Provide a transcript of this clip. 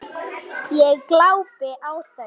Ég glápi á þau.